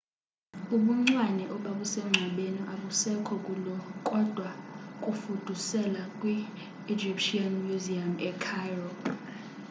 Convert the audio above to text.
ubuncwane obabusengcwabeni abusekho kulo kodwa bafuduselwa kwi-egyptian museum ecairo